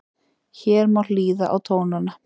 Hér má hlýða á tónana